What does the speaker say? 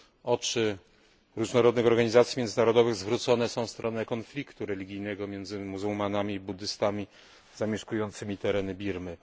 Oczy różnych organizacji międzynarodowych zwrócone są w stronę konfliktu religijnego między muzułmanami i buddystami zamieszkującymi tereny Birmy.